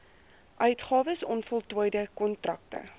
uitgawes onvoltooide kontrakte